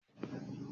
Báyọ̀ lọ sí ẹ̀wọ̀n